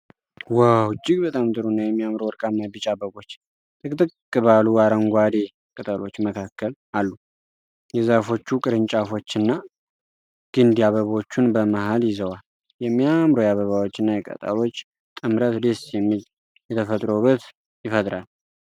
ዋው! እጅግ በጣም ጥሩ እና የሚያምሩ ወርቃማ ቢጫ አበቦች ጥቅጥቅ ባሉ አረንጓዴ ቅጠሎች መካከል አሉ። የዛፎቹ ቅርንጫፎችና ግንድ አበቦቹን በመሃል ይዘዋል። የሚያምሩ የአበባዎች እና የቅጠሎች ጥምረት ደስ የሚል የተፈጥሮ ውበት ይፈጥራል።